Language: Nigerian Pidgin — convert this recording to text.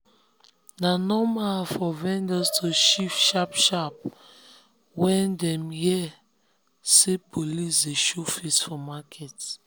na normal for vendors to shift sharp-sharp when dem sharp-sharp when dem hear say police dey show face for market.